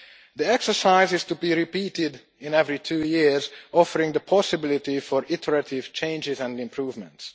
The exercise is to be repeated every two years, offering the possibility for iterative changes and improvements.